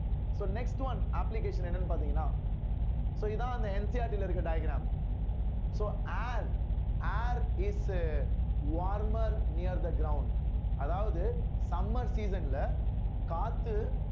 so next one application என்னன்னு பார்த்தீங்கன்னா so இதான் அந்த NCERT ல இருக்க diagram so air air is uh warmer near the ground அதாவது summer season ல காத்து